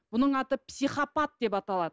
бұның аты психопат деп аталады